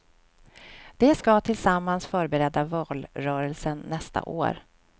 De ska tillsammans förbereda valrörelsen nästa år.